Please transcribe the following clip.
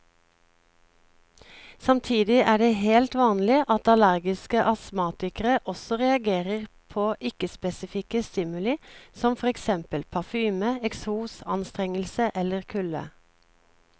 Samtidig er det helt vanlig at allergiske astmatikere også reagerer på ikke spesifikke stimuli som for eksempel parfyme, eksos, anstrengelse eller kulde.